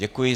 Děkuji.